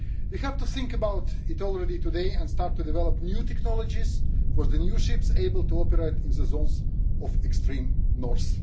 You have to think about it already today and start to develop new technologies for the new ships able to operate in zones of the extreme North.